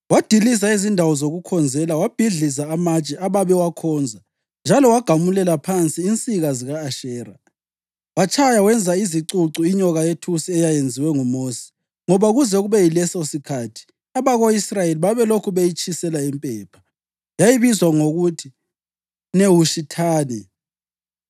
Wadiliza izindawo zokukhonzela, wabhidliza amatshe ababewakhonza njalo wagamulela phansi insika zika-Ashera. Watshaya wenza izicucu inyoka yethusi eyayenziwe nguMosi, ngoba kuze kube yilesosikhathi abako-Israyeli babelokhu beyitshisela impepha. (Yayibizwa ngokuthi Nehushithani.)